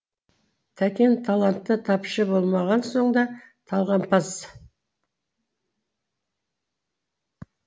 тәкен таланты тапшы болмаған соң да талғампаз